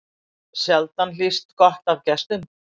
Sjaldan hlýst gott af gestum.